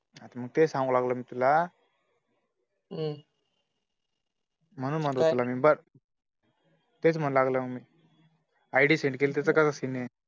हा तर मी तेच सांगाय लागलो मी तुला म्हणून म्हणलं तुला मी बघ तेच म्हणू लागलो मी, id send केली त्याचं का scene ए